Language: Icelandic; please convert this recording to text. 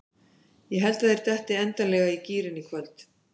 Ég held að þeir detti endanlega í gírinn í kvöld.